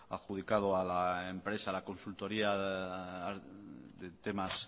adjudicado a la empresa a la consultoría de temas